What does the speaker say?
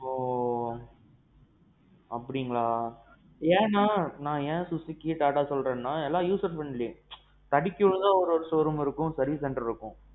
ஓஒ. அப்படீங்களா? ஏன்னா நான் ஏன் Suzuki TATA சொல்றேன்னா எல்லாம் user friendly வண்டி. தடுக்கி விழுந்தா ஒரு showroom ஒரு service center இருக்கும்.